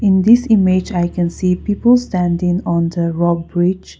in this image i can see people standing on the rock bridge.